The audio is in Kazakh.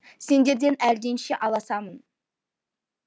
сендерден әлденеше аласамын